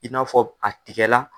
I n'a fɔ a tigɛla.